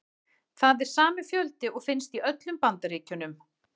Það er sami fjöldi og finnst í öllum Bandaríkjunum.